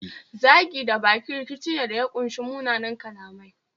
Zagi da baki rikici ne da ya kunshi munanan kalamai